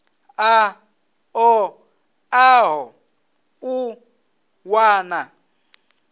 a ṱo ḓaho u wana